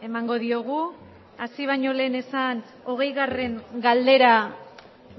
emango diogu hasi bañolen ezan hogeigarren galdera